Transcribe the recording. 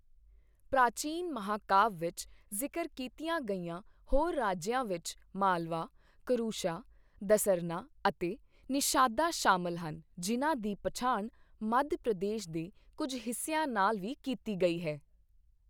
ਪ੍ਰਾਚੀਨ ਮਹਾਂਕਾਵਿ ਵਿੱਚ ਜ਼ਿਕਰ ਕੀਤੀਆਂ ਗਈਆਂ ਹੋਰ ਰਾਜਿਆਂ ਵਿੱਚ ਮਾਲਵਾ, ਕਰੁਸ਼ਾ, ਦਸਰਨਾ ਅਤੇ ਨਿਸ਼ਾਦਾ ਸ਼ਾਮਲ ਹਨ ਜਿਨ੍ਹਾਂ ਦੀ ਪਛਾਣ ਮੱਧ ਪ੍ਰਦੇਸ਼ ਦੇ ਕੁੱਝ ਹਿੱਸਿਆਂ ਨਾਲ ਵੀ ਕੀਤੀ ਗਈ ਹੈ।